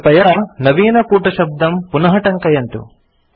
कृपया नवीनकूटशब्दं पुनः टङ्कयन्तु